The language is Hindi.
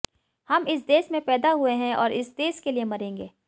हम इस देश में पैदा हुए हैं और इस देश के लिए मरेंगे